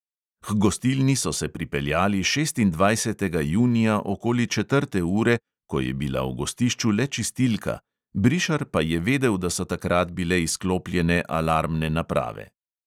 H gostilni so se pripeljali šestindvajsetega junija okoli četrte ure, ko je bila v gostišču le čistilka, brišar pa je vedel, da so takrat bile izklopljene alarmne naprave.